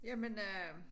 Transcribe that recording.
Jamen øh